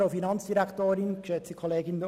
Für die BDPFraktion spricht Grossrat Etter.